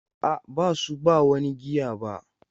A'a, ba su ba wani giya ba.